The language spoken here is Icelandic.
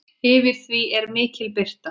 Yfir því er mikil birta.